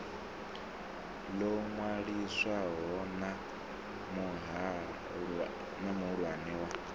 ḽo ṅwaliswaho na muhulwane wa